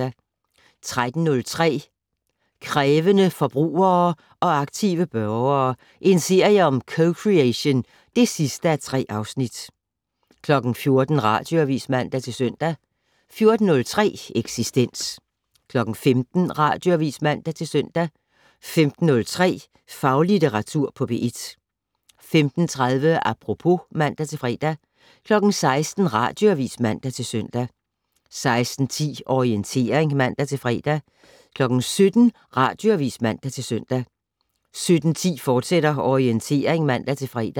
13:03: Krævende forbrugere og aktive borgere - en serie om co-creation (3:3) 14:00: Radioavis (man-søn) 14:03: Eksistens 15:00: Radioavis (man-søn) 15:03: Faglitteratur på P1 15:30: Apropos (man-fre) 16:00: Radioavis (man-søn) 16:10: Orientering (man-fre) 17:00: Radioavis (man-søn) 17:10: Orientering, fortsat (man-fre)